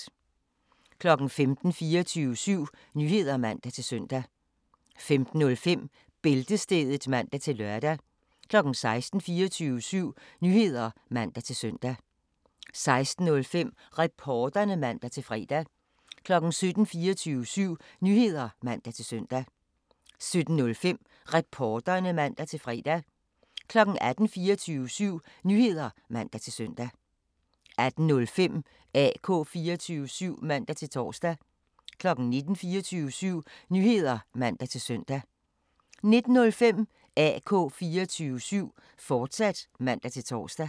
15:00: 24syv Nyheder (man-søn) 15:05: Bæltestedet (man-lør) 16:00: 24syv Nyheder (man-søn) 16:05: Reporterne (man-fre) 17:00: 24syv Nyheder (man-søn) 17:05: Reporterne (man-fre) 18:00: 24syv Nyheder (man-søn) 18:05: AK 24syv (man-tor) 19:00: 24syv Nyheder (man-søn) 19:05: AK 24syv, fortsat (man-tor)